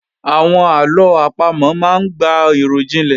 Àwọn àlọ àpamò máa ń gba ìròjinlẹ̀